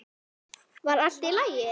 Var allt í lagi?